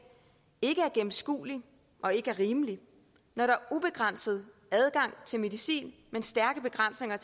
ikke er gennemskuelig og ikke er rimelig når der er ubegrænset adgang til medicin men stærke begrænsninger